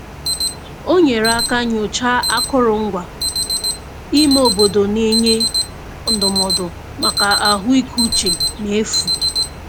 O nyere aka nyochaa akụrụngwa ime obodo na-enye ndụmọdụ maka ahụikeuche n'efu.